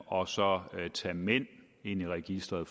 og så tage mænd ind i registeret